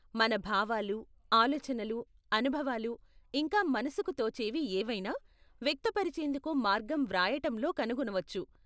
మన భావాలు, ఆలోచనలు, అనుభవాలు, ఇంకా మనసుకు తోచేవి ఏవైనా, వ్యక్తపరిచేందుకు మార్గం వ్రాయటంలో కనుగొనవచ్చు.